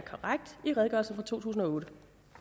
en redegørelse fra to tusind og otte